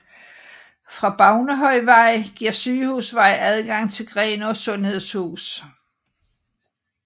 Fra Bavnehøjvej giver Sygehusvej adgang til Grenaa Sundhedshus